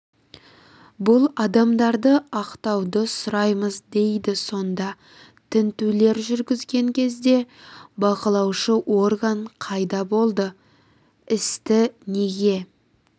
бұл адамдарды ақтауды сұраймыз дейді сонда тінтулер жүргізілген кезде бақылаушы орган қайда болды істі неге